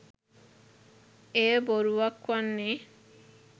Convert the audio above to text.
එය බොරුවක් වන්නේ